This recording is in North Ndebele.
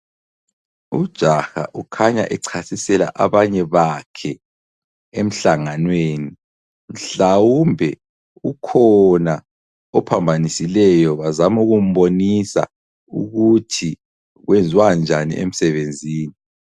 Ujaha ukhanya echasisela abanye bakhe emhlanganweni, mhlawumbe ukhona ophambanisileyo bazama ukumbonisa ukuthi kwenziwanjani emsebenzini.